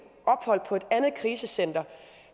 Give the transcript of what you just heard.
ophold på et andet krisecenter